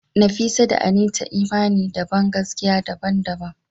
Nafisa da Anita imani da bangaskiya daban-daban.